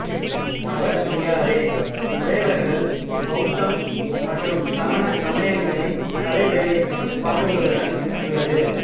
பவா பியாரே குடைவரைகள் பௌத்தம் மற்றும் சமண சமயங்களின் கலை வேலைப்பாடுகளுடன் உள்ளது